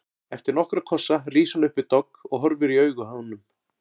Eftir nokkra kossa rís hún upp við dogg og horfir í augu honum.